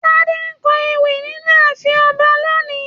Tade ńkọ ewì nínú ààfin ọba lóni.